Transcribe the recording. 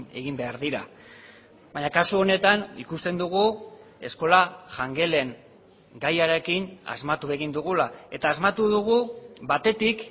egin behar dira baina kasu honetan ikusten dugu eskola jangelen gaiarekin asmatu egin dugula eta asmatu dugu batetik